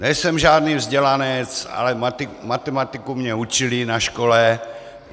Nejsem žádný vzdělanec, ale matematiku mě učili na škole.